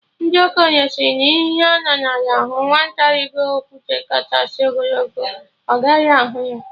Ndị okenye sịrị na ihe ha nọ n'ala hụ, nwata rigo okwute kachasị ogologo, ọ gaghị ahụ ya